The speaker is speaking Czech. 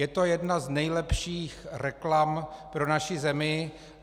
Je to jedna z nejlepších reklam pro naši zemi.